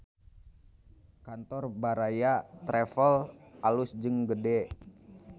Kantor Baraya Travel alus jeung gede